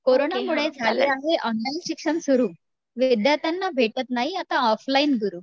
कोरोनामुळे झाले आहे ऑनलाईन शिक्षण सुरु, विद्यार्थ्यांना भेटत नाही आता ऑफलाईन गुरु